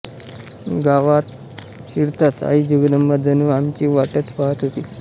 गावात शिरताच आई जगदंबा जणू आमची वाटच पाहत होती